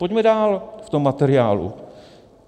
Pojďme dál v tom materiálu.